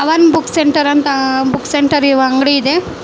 Pavan Books Centre ಅಂತ book centre ಇರುವ ಅಂಗಡಿ ಇದೆ.